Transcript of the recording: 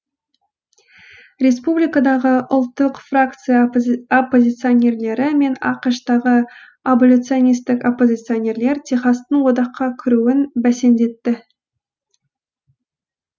республикадағы ұлттық фракция оппозиционерлері мен ақш тағы аболиционистік оппозиционерлер техастың одаққа кіруін бәсеңдетті